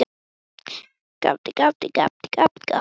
Svo töluðu menn saman og sumir tefldu.